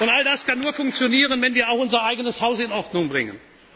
Arbeit. All das kann nur funktionieren, wenn wir auch unser eigenes Haus in Ordnung